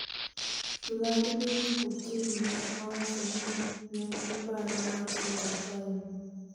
Vladmin Putin ne owacho ni nengi paro mar oro time